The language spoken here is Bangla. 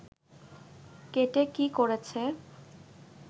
কেটে কী করেছে